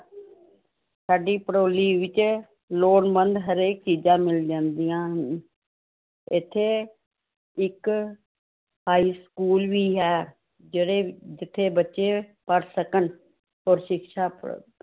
ਸਾਡੀ ਭੜੋਲੀ ਵਿੱਚ ਲੋੜਵੰਦ ਹਰੇਕ ਚੀਜ਼ਾਂ ਮਿਲ ਜਾਂਦੀਆਂ ਹਨ, ਇੱਥੇ ਇੱਕ high school ਵੀ ਹੈ, ਜਿਹੜੇ ਜਿੱਥੇ ਬੱਚੇ ਪੜ੍ਹ ਸਕਣ, ਔਰ ਸਿਕਸ਼ਾ ਪ੍ਰਾਪਤ